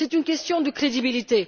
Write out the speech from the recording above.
C'est une question de crédibilité.